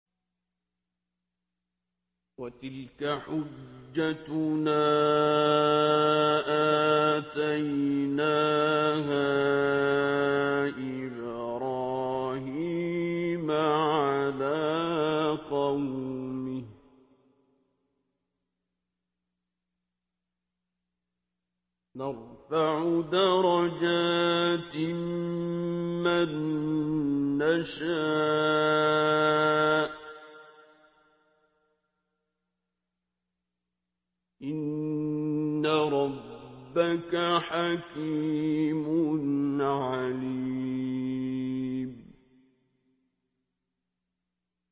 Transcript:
وَتِلْكَ حُجَّتُنَا آتَيْنَاهَا إِبْرَاهِيمَ عَلَىٰ قَوْمِهِ ۚ نَرْفَعُ دَرَجَاتٍ مَّن نَّشَاءُ ۗ إِنَّ رَبَّكَ حَكِيمٌ عَلِيمٌ